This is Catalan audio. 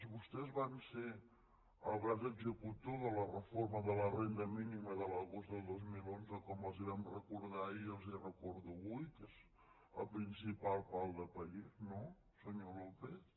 vostès van ser el braç executor de la reforma de la renda mínima de l’agost del dos mil onze com els vam recordar ahir i els ho recordo avui que és el principal pal de paller no senyor lópez